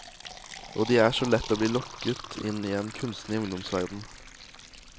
Og det er så lett å bli lokket inn i en kunstig ungdomsverden.